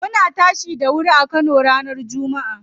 Muna tashi da wuri a wajen aiki ranar jummaa.